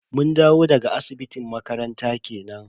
Mun dawo daga asibitin makaranta kenan.